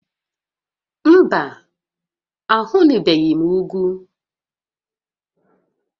Mba, ahụnubeghị m ugwu